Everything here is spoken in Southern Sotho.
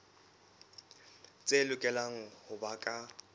tse lokelang ho ba ka